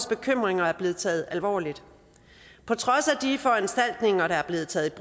bekymringer er blevet taget alvorligt på trods af de foranstaltninger der er blevet taget